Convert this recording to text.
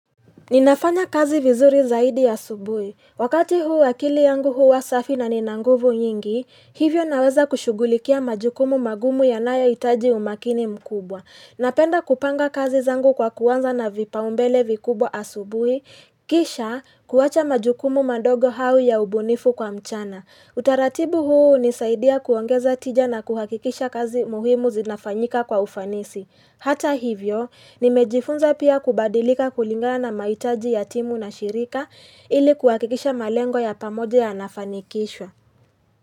Ninafanya kazi vizuri zaidi asubuhi. Wakati huu akili yangu huwa safi na nina nguvu nyingi, hivyo naweza kushughulikia majukumu magumu yanayo hitaji umakini mkubwa. Napenda kupanga kazi zangu kwa kuanza na vipaombele vikubwa asubuhi, kisha kuwacha majukumu mandogo hao ya ubunifu kwa mchana. Utaratibu huu hunisaidia kuongeza tija na kuhakikisha kazi muhimu zinafanyika kwa ufanisi. Hata hivyo, nimejifunza pia kubadilika kulingana na mahitaji ya timu na shirika ili kuhakikisha malengo ya pamoja yanafanikishwa.